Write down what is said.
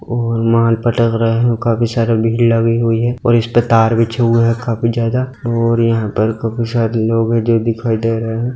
और माल पटक रहे है और काफी सारा भीड़ लगी हुई है और इसपे तार बिछे हुए है काफी ज्यादा और यहां पर काफी सारे लोग है जो दिखाई दे रहे है।